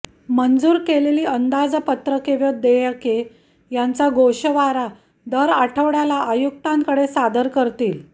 मंजूर केलेली अंदाजपत्रके व देयके यांचा गोषवारा दर आठवड्याला आयुक्तांकडे सादर करतील